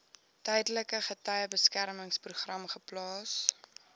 tydelike getuiebeskermingsprogram geplaas